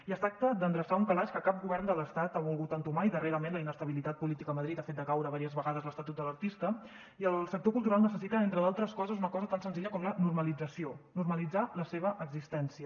i es tracta d’endreçar un calaix que cap govern de l’estat ha volgut entomar i darrerament la inestabilitat política a madrid ha fet decaure diverses vegades l’estatut de l’artista i el sector cultural necessita entre d’altres coses una cosa tan senzilla com la normalització normalitzar la seva existència